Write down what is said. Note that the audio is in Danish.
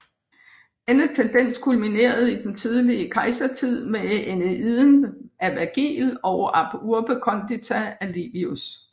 Denne tendens kulminerede i den tidlige kejsertid med Æneiden af Vergil og Ab urbe condita af Livius